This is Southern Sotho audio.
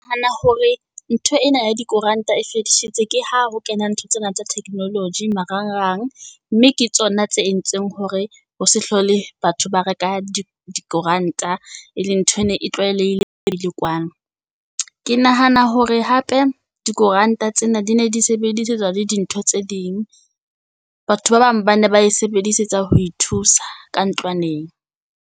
hore ntho ena ya dikoranta e fedisitswe ke ha ho kena ntho tsena tsa technology marangrang, mme ke tsona tse entsweng hore ho se hlole batho ba reka dikoranta, e leng ntho e ne e tlwaelehileng . Ke nahana hore hape dikoranta tsena di ne di sebedisetswa le dintho tse ding, batho ba bang ba ne ba e sebedisetsa ho ithusa ka ntlwaneng.